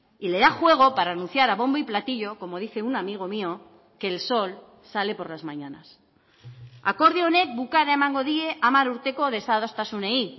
y le da juego para anunciar a bombo y platillo como dice un amigo mío que el sol sale por las mañanas akordio honek bukaera emango die hamar urteko desadostasunei